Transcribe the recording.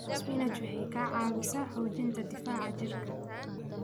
Spinach waxay ka caawisaa xoojinta difaaca jidhka.